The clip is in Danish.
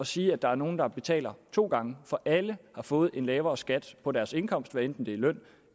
sige at der er nogle der betaler to gange for alle har fået en lavere skat på deres indkomst hvad enten det er løn